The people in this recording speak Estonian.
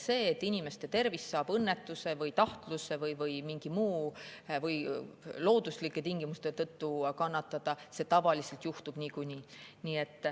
See, et inimeste tervis saab õnnetuse või tahtluse või looduslike tingimuste või millegi muu tõttu kannatada, juhtub tavaliselt niikuinii.